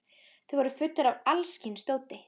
Þeir voru fullir af alls kyns dóti.